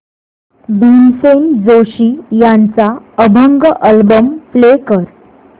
भीमसेन जोशी यांचा अभंग album play कर